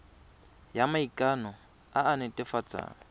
ya maikano e e netefatsang